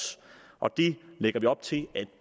og det lægger vi op til at